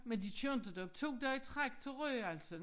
Men de kører inte derop to dage i træk til Rønne altså